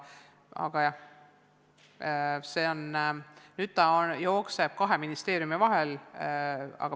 Aga jah, teema jookseb kahe ministeeriumi vahel.